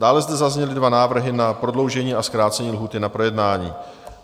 Dále zde zazněly dva návrhy na prodloužení a zkrácení lhůty na projednání.